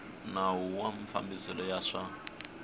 nawu wa mafambiselo ya swa